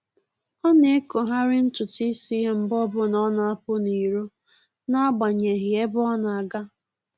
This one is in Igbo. Ọ na-ekogharị ntụtụ isi ya mgbe ọbụla ọ na-apụ n'iro n'agbanyeghị ebe ọ na-aga